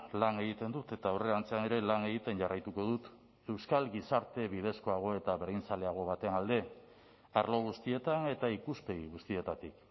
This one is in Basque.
lan egiten dut eta aurrerantzean ere lan egiten jarraituko dut euskal gizarte bidezkoago eta berdinzaleago baten alde arlo guztietan eta ikuspegi guztietatik